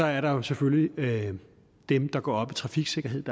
er der jo selvfølgelig dem der går op i trafiksikkerhed